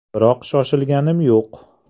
Biroq shoshilganim yo‘q.